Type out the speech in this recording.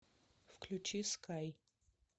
включи скай